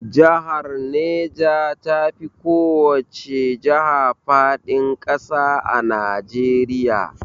Jahar Neja tafi kowace jaha faɗin ƙasa a Najeriya